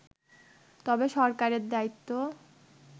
তবে সরকারের দায়িত্ব